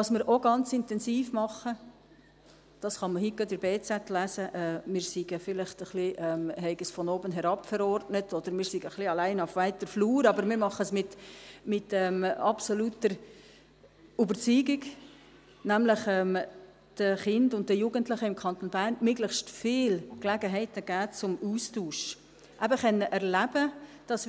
Was wir auch ganz intensiv machen – heute kann man gerade in der «Berner Zeitung (BZ)» lesen, wir hätten es vielleicht etwas von oben herab verordnet oder seien allein auf weiter Flur –, aber wir machen es mit absoluter Überzeugung ist, dass wir nämlich den Kindern und Jugendlichen im Kanton Bern möglichst viel Gelegenheiten geben zum Austausch, um eben erleben zu können, dass